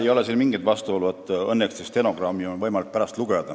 Ei ole siin mingit vastuolu – õnneks on võimalik pärast stenogrammi lugeda.